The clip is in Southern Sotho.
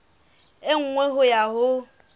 e nngwe ho ya ho